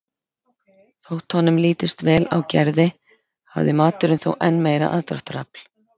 Þótt honum litist vel á Gerði hafði maturinn þó enn meira aðdráttarafl.